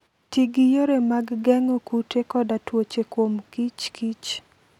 Ti gi yore mag geng'o kute koda tuoche kuom kich kich.